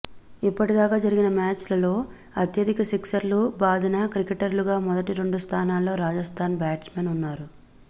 ఇప్పటిదాకా జరిగిన మ్యాచుల్లో అత్యధిక సిక్సర్లు బాదిన క్రికెటర్లుగా మొదటి రెండు స్థానాల్లో రాజస్థాన్ బ్యాట్స్మెన్ ఉన్నారు